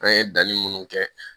An ye danni munnu kɛ